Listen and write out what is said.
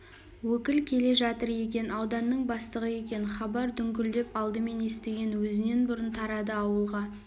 өкіл келе жатыр екен ауданның бастығы екен хабар дүңкілдеп алдымен естіген өзінен бұрын тарады ауылға